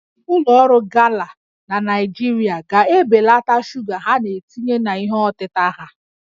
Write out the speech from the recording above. Ụlọ ọrụ Gala na Naịjirịa ga-ebelata shuga ha na-etinye na ihe ọtịta ha